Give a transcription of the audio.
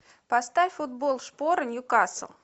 поставь футбол шпоры ньюкасл